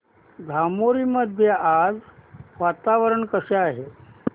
धामोरी मध्ये आज वातावरण कसे आहे